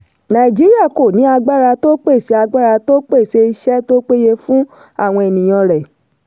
nàìjíríà kò ní agbára tó pèsè agbára tó pèsè iṣẹ́ tó péye fún àwọn ènìyàn rẹ̀.